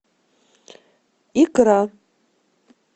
икра